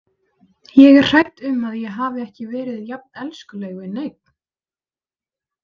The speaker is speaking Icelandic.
Ég er hrædd um að ég hafi ekki verið jafn elskuleg við neinn.